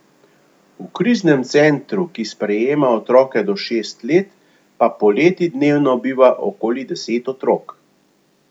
V kriznem centru, ki sprejema otroke do šest let, pa poleti dnevno biva okoli deset otrok.